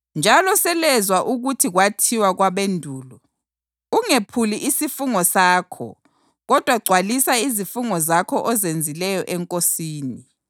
“Njalo selezwa ukuthi kwathiwa kwabendulo, ‘Ungephuli isifungo sakho kodwa gcwalisa izifungo zakho ozenzileyo eNkosini.’